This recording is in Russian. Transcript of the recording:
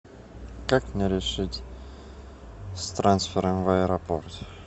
как мне решить с трансфером в аэропорт